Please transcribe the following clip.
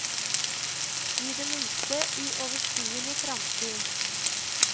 I det minste i overskuelig framtid.